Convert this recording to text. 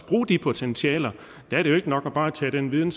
bruge de potentialer der er det jo ikke nok bare at tage den viden